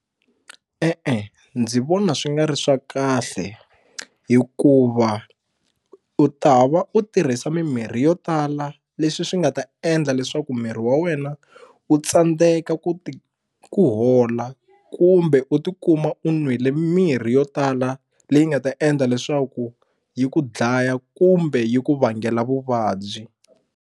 E-e ndzi vona swi nga ri swa kahle hikuva u ta va u tirhisa mimirhi yo tala leswi swi nga ta endla leswaku miri wa wena u tsandzeka ku ti ku hola kumbe u tikuma u n'wile mirhi yo tala leyi nga ta endla leswaku yi ku dlaya kumbe yi ku vangela vuvabyi.